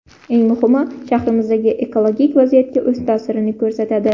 Eng muhimi, shahrimizdagi ekologik vaziyatga o‘z ta’sirini ko‘rsatadi.